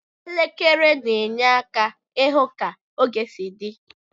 Elekere na enye aka ihụ ka oge si di.